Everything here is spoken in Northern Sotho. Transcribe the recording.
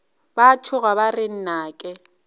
ba tšhoga ba re nnake